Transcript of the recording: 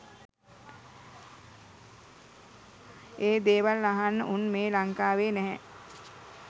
ඒ දේවල් අහන්න උන් මේ ලංකාවේ නැහැ